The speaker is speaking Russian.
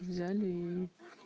взяли и